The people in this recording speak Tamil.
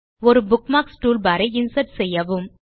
ஒரு புக்மார்க்ஸ் டூல்பார் ஐ இன்சர்ட் செய்யவும்